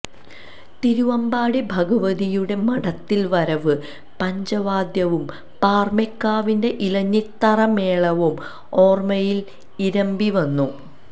തിരുവമ്പാടി ഭഗവതിയുടെ മഠത്തിൽവരവ് പഞ്ചവാദ്യവും പാറമേക്കാവിന്റെ ഇലഞ്ഞിത്തറമേളവും ഓർമയിൽ ഇരമ്പിവന്നു